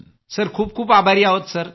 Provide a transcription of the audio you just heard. sir खूप खूप आभारी आहोत सर